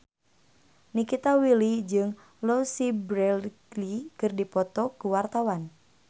Nikita Willy jeung Louise Brealey keur dipoto ku wartawan